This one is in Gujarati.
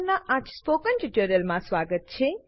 પરનાં આ સ્પોકન ટ્યુટોરીયલમાં સ્વાગત છે